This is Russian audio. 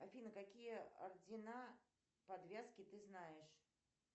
афина какие ордена подвязки ты знаешь